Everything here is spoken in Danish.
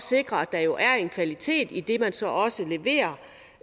sikre at der jo er en kvalitet i det man så også leverer